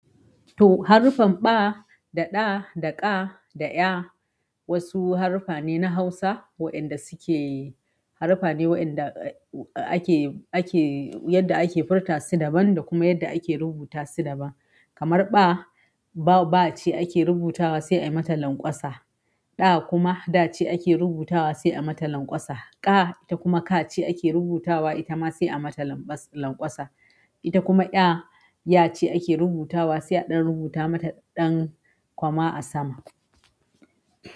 To, haruffan ɓa, da ɗa, da ƙa, da ƴa wasu haruffa ne na Hausa waɗanda suke haruffa ne waɗanda ake, ake yadda ake furta su daban da kuma yadda ake rubuta su daban. Kamar ɓa, ba ba ce ake rubutawa sai a mata lanƙwasa. Da kuma da ce ake rubutawa sai a mata lanƙwasa. Ƙa ita kuma ka ce ake rubutawa ita ma sai a mata lanƙwasa. Ita kuma ƴa, ya ce ake rubutawa sai a ɗan rubuta mata ɗan kwama a sama.